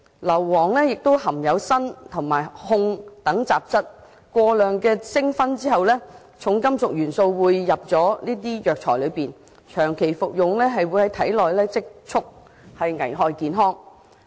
硫磺亦含有砷及汞等雜質，過量蒸燻後，這些重金屬元素會滲進藥材，若長期服用，便會在體內積存，危害健康。